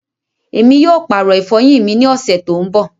Ẹmi yóò paàrọ ifọyin mi ni oṣẹ to ń bọ̀.